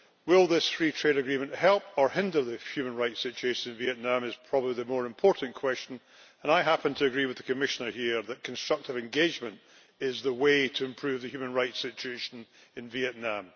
Whether this free trade agreement will help or hinder the human rights situation in Vietnam is probably the more important question, and I happen to agree with the Commissioner that constructive engagement is the way to improve the human rights situation in Vietnam.